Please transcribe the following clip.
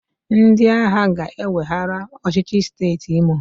Ndị agha ga-eweghara ọchịchị siteeti Imo.